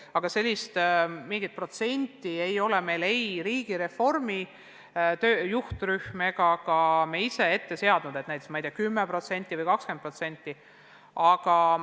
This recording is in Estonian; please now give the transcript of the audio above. Aga mingit protsenti ei ole meile ei riigireformi juhtrühm ega ka me ise ette seadnud, et tuleb näiteks 10% või 20% koondada.